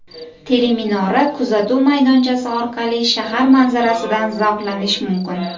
Teleminora kuzatuv maydonchasi orqali shahar manzarasidan zavqlanish mumkin.